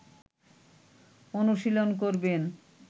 অনুশীলন করবেন